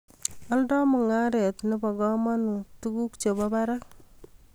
Oldoi mungaret ne bo kamanut tuguk che bo barak